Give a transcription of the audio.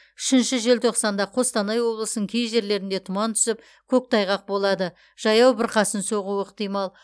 үшінші желтоқсанда қостанай облысының кей жерлерінде тұман түсіп көктайғақ болады жаяу бұрқасын соғуы ықтимал